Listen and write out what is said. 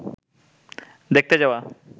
দেখতে যাওয়া